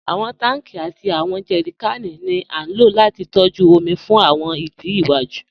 Awọn tanki àti awọn jẹrìkànì ni a ló láti tọ̀jú omi fún awọn ìdí iwaju.